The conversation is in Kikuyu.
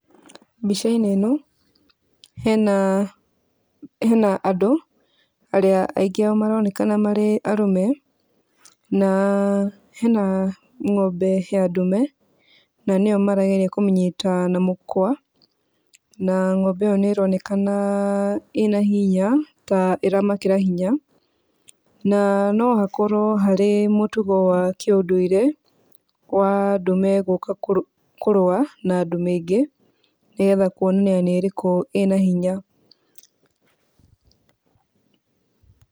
Mbica-inĩ ĩno hena andũ arĩa aingĩ ao maronekana marĩ arũme, na hena ng'ombe ya Ndumeri na nĩyo marageria kũnyita na mũkw,a na ng'ombe nĩronekana ĩna hinya ta ĩra makĩra hinya na nohakorwo harĩ mũtugo wa kĩũndũire wa ndume gũka kũrũa na ndume ingĩ nĩgetha kwonania nĩ ĩrĩkũ ĩna hinya.